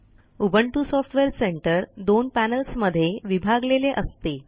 Ubuntu software centre दोन पॅनेल्समध्ये विभागलेले असते